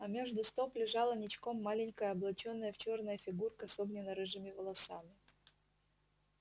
а между стоп лежала ничком маленькая облачённая в чёрное фигурка с огненно-рыжими волосами